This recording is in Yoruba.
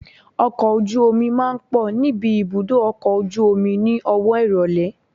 Ọkọ̀ ojú omi máa ń pọ̀ níbi ibùdó ọkọ̀ ojú omi ni owó ìrólé.